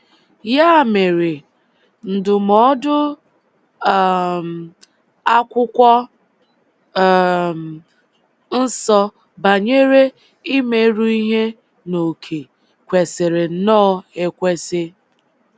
Ya mere, ndụmọdụ um Akwụkwọ um Nsọ banyere “ịmeru ihe n’oke” kwesịrị nnọọ ekwesị.